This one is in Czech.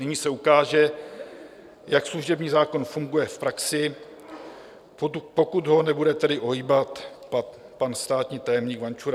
Nyní se ukáže, jak služební zákon funguje v praxi, pokud ho nebude tedy ohýbat pan státní tajemník Vančura.